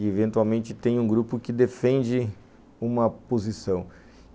e, eventualmente, tem um grupo que defende uma posição.